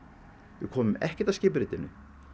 við komum ekkert að skipuritinu